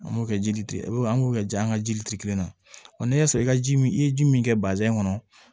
An b'o kɛ jili de an b'o kɛ ji an ka jiliti kelen na ɔ n'i y'a sɔrɔ i ka ji min i ye ji min kɛ kɔnɔ